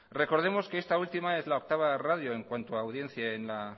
recordemos que esta última es la octava radio en cuanto a audiencia en la